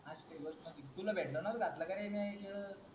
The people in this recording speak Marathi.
तुला भेटलं ना